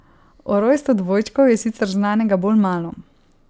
O rojstvu dvojčkov je sicer znanega bolj malo.